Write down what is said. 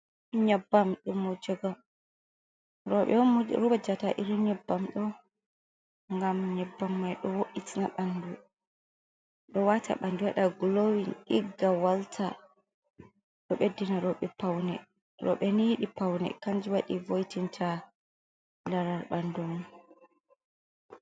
Nyebbam wujugo robe on wujata irin nyebbam do ,gam nyebbam mai do wata bandu wada glowin igga walta do beddina robe paune, robe nyidi paune kanje wadi voytinta larar bandun.